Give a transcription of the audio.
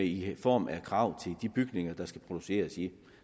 i form af krav til de bygninger der skal produceres i